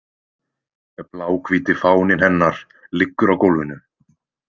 Bláhvíti fáninn hennar liggur á gólfinu.